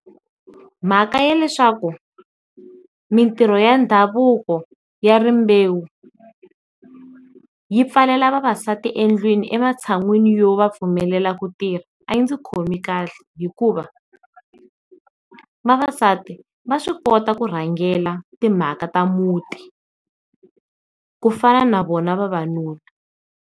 Mhaka ya leswaku mintirho ya ndhavuko ya rimbewu yi pfalela vavasati endlwini ematshan'wini yo va pfumelela ku tirha, a yi ndzi khomi kahle hikuva vavasati va swi kota ku rhangela timhaka ta muti ku fana na vona vavanuna.